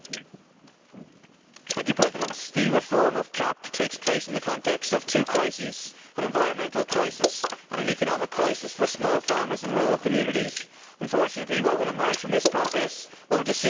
Mr President, the reform of the CAP takes place in the context of two crises an environmental crisis and an economic crisis for small farmers and rural communities. Unfortunately, what will emerge from this process will not assist in resolving either.